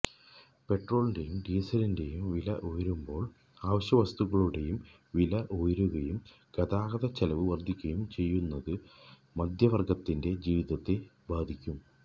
പെട്രോളിന്റെയും ഡീസലിന്റെയും വില ഉയരുമ്പോള് അവശ്യവസ്തുക്കളുടെയും വില ഉയരുകയും ഗതാഗതച്ചെലവ് വര്ദ്ധിക്കുകയും ചെയ്യുന്നത് മധ്യവര്ഗത്തിന്റെ ജീവിതത്തെ ബാധിക്കും